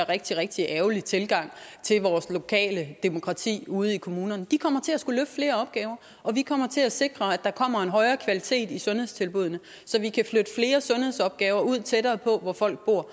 rigtig rigtig ærgerlig tilgang til vores lokale demokrati ude i kommunerne de kommer til at skulle løfte flere opgaver og vi kommer til at sikre at der kommer en højere kvalitet i sundhedstilbuddene så vi kan flytte flere sundhedsopgaver ud tættere på hvor folk bor